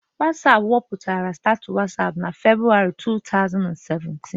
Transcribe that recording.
Wọsapụ wepụtara Status Wọsapụ na Februwarị 2017